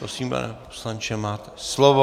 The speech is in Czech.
Prosím, pane poslanče, máte slovo.